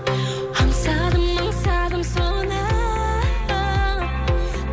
аңсадым аңсадым соны